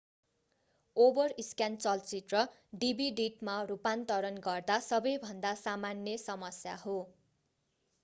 overscan चलचित्र डिभिडिटमा रूपान्तरण गर्दा सबैभन्दा सामान्य समस्या हो